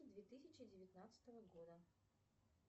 две тысячи девятнадцатого года